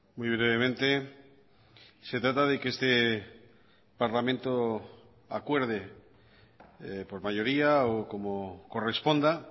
muy brevemente se trata de que este parlamento acuerde por mayoría o como corresponda